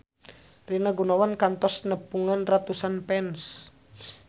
Rina Gunawan kantos nepungan ratusan fans